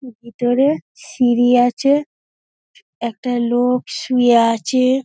ভিতরে সিঁড়ি আছে একটা লোক শুয়ে আছে।